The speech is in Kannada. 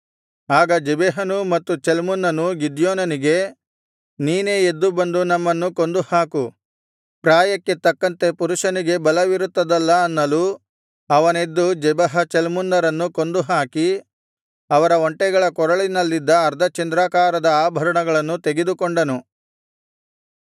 ಆಗ ಜೆಬಹನೂ ಮತ್ತು ಚಲ್ಮುನ್ನನೂ ಗಿದ್ಯೋನನಿಗೆ ನೀನೇ ಎದ್ದು ಬಂದು ನಮ್ಮನ್ನು ಕೊಂದುಹಾಕು ಪ್ರಾಯಕ್ಕೆ ತಕ್ಕಂತೆ ಪುರುಷನಿಗೆ ಬಲವಿರುತ್ತದಲ್ಲಾ ಅನ್ನಲು ಅವನೆದ್ದು ಜೆಬಹ ಚಲ್ಮುನ್ನರನ್ನು ಕೊಂದುಹಾಕಿ ಅವರ ಒಂಟೆಗಳ ಕೊರಳಿನಲ್ಲಿದ್ದ ಅರ್ಧಚಂದ್ರಾಕಾರದ ಆಭರಣಗಳನ್ನು ತೆಗೆದುಕೊಂಡನು